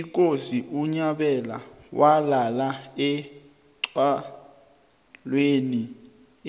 ikosi unyabela walalela oxholweni